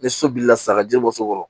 Ni so bilila sa ka ji bɔ so kɔrɔ